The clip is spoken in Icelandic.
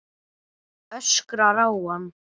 Öskrar á hann.